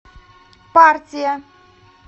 партия